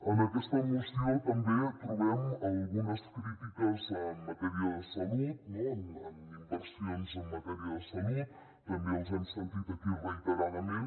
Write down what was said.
en aquesta moció també trobem algunes crítiques en matèria de salut no en inversions en matèria de salut també els hem sentit aquí reiteradament